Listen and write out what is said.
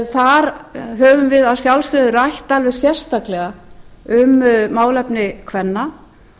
þar höfum við að sjálfsögðu rætt alveg sérstaklega um málefni kvenna